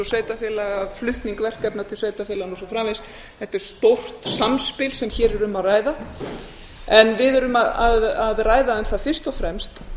sveitarfélaga flutning verkefna til sveitarfélaganna og svo framvegis þetta er stórt samspil sem hér er um að ræða en við erum að ræða um það fyrst og fremst